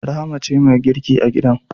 Rahma ce mai girki a gidan